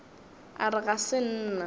a re ga se nna